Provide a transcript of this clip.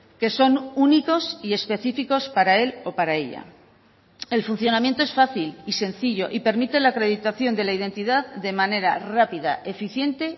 que son únicos y específicos para él o para ella el funcionamiento es fácil y sencillo y permite la acreditación de la identidad de manera rápida eficiente